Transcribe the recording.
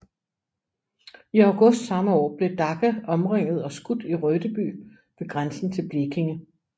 I august samme år blev Dacke omringet og skudt i Rödeby ved grænsen til Blekinge